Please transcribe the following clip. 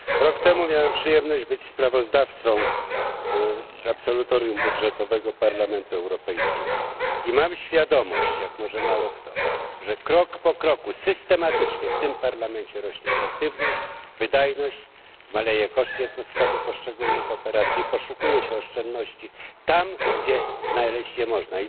Rok temu miałem przyjemność być sprawozdawcą z absolutorium budżetowego Parlamentu Europejskiego i mam świadomość jak może mało kto że krok po kroku, systematycznie w tym Parlamencie rośnie efektywność, wydajność, maleje koszt jednostkowy poszczególnych operacji, poszukuje się oszczędności tam, gdzie znaleźć je można.